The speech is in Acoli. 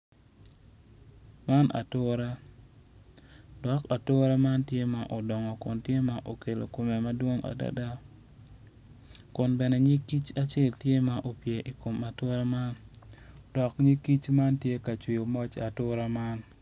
Man atura dok atura man tye ma odongo kun tye ma okelo kumme madwong adada kun bene nyig kic acel tye ma opye i kom atura man dok nyig kic man tye ka jwiyo moc atura man